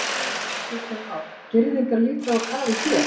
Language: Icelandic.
Kristján Már: Girðingar líka á kafi hér?